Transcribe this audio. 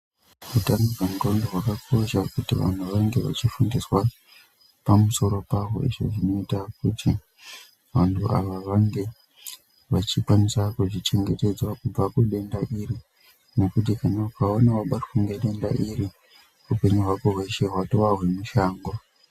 Utano hwendxondo hwakakosha kuti vanhu vange vachifundiswa pamusoro paho izvo zvinoita kuti vanhu ava vange vachikwanisa kuzvichengetedza kubva kudenda iri, nekuti hino ukaona wabatwa nedenda iri upenyu hwako hweshe hwatova hwemushango.